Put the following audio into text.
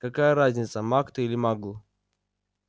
какая разница маг ты или магл